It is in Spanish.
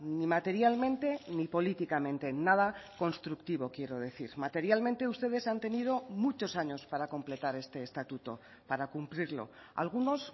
ni materialmente ni políticamente nada constructivo quiero decir materialmente ustedes han tenido muchos años para completar este estatuto para cumplirlo algunos